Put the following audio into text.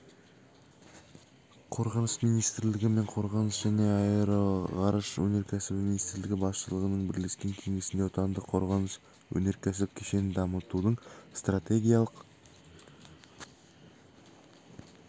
қорғаныс министрлігі мен қорғаныс және аэроғарыш өнеркәсібі министрлігі басшылығының бірлескен кеңесінде отандық қорғаныс-өнеркәсіп кешенін дамытудың стратегиялық